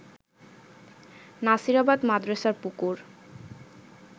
নাসিরাবাদ মাদ্রাসার পুকুর